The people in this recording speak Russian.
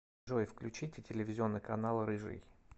джой включите телевизионный канал рыжий